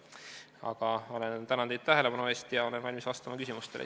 Aga tänan teid tähelepanu eest ja olen valmis vastama küsimustele.